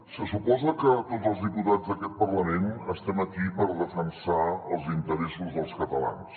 se suposa que tots els diputats d’aquest parlament estem aquí per defensar els interessos dels catalans